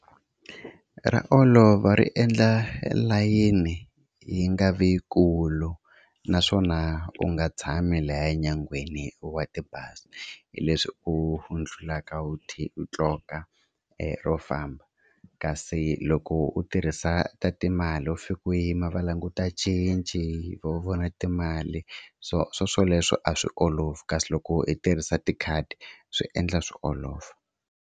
Ra olova ri endla layini yi nga vi yikulu naswona u nga tshami lahaya nyangweni wa tibazi hileswi u ndlulaka u qoka u famba. Kasi loko u tirhisa ta timali u fika u yima va languta cinci vo vona timali so swoswoleswo a swi olovi kasi loko i tirhisa tikhadi swi endla swi olova.